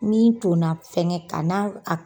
Min tonna fɛnɛ kana o ak